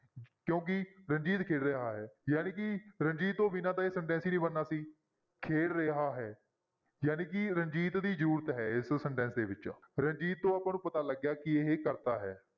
ਕਿਉਂਕਿ ਰਣਜੀਤ ਖੇਡ ਰਿਹਾ ਹੈ ਜਾਣੀਕਿ ਰਣਜੀਤ ਤੋਂ ਬਿਨਾਂ ਤਾਂ ਇਹ sentence ਹੀ ਨੀ ਬਣਨਾ ਸੀ, ਖੇਡ ਰਿਹਾ ਹੈ ਜਾਣੀਕਿ ਰਣਜੀਤ ਦੀ ਜ਼ਰੂਰਤ ਹੈ ਇਸ sentence ਦੇ ਵਿੱਚ, ਰਣਜੀਤ ਤੋਂ ਆਪਾਂ ਨੂੰ ਪਤਾ ਲੱਗਿਆ ਕਿ ਇਹ ਕਰਤਾ ਹੈ।